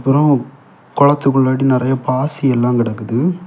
அப்பறம் குளத்துக்கு முன்னாடி நெறைய பாசி எல்லா கிடக்குது.